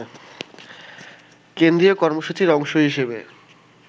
কেন্দ্রীয় কর্মসূচির অংশ হিসেবে